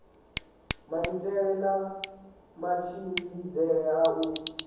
maitele na matshimbidzele a u